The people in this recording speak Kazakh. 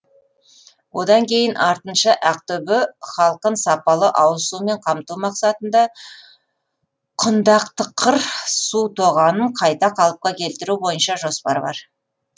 одан кейін артынша ақтөбе халқын сапалы ауызсумен қамту мақсатында құндақтықыр су тоғанын қайта қалыпқа келтіру бойынша жоспар бар